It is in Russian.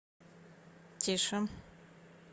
тише